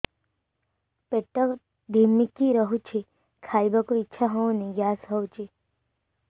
ପେଟ ଢିମିକି ରହୁଛି ଖାଇବାକୁ ଇଛା ହଉନି ଗ୍ୟାସ ହଉଚି